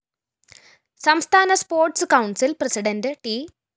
സംസ്ഥാന sports council‍ president ട്‌